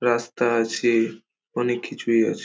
রাস্তা আছে অনেক কিছুই আছে।